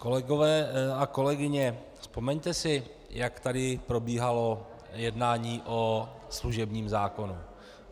Kolegové a kolegyně, vzpomeňte si, jak tady probíhalo jednání o služebním zákonu.